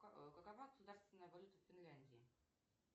какова государственная валюта в финляндии